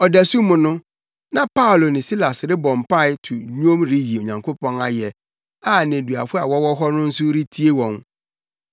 Ɔdasu mu no, na Paulo ne Silas rebɔ mpae to nnwom reyi Onyankopɔn ayɛ, a nneduafo a wɔwɔ hɔ no nso retie wɔn.